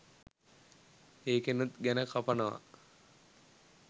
එකෙනුත් ගැන කපනවා